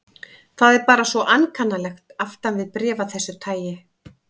Það er bara svo ankannalegt aftan við bréf af þessu tagi.